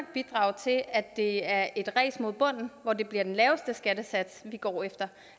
bidrage til at det er et ræs mod bunden hvor det bliver den laveste skattesats vi går efter